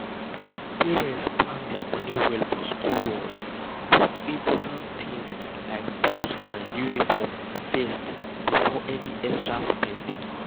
parents plan their money well for school runs put important things like books and uniforms first before any extra spending.